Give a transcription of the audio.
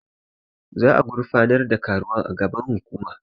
Za'a gurfanar da karuwan a gaban hukuma.